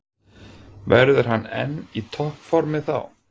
Verður hann enn í toppformi þá?